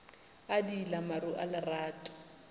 a diila maru a lerato